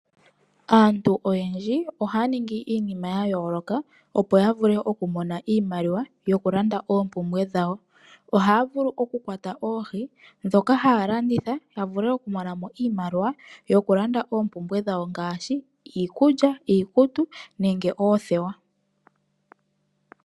Aantu oyendji ohaya ningi iinima ya yooloka opo yavule okumona iimaliwa yoku landa oompumbwe dhawo. Ohaya vulu okukwata oohi ndhoka haya landitha yavule okumonamo iimaliwa yokulanda oompumbwe dhawo ngaashi iikulya, iikutu nenge oothewa.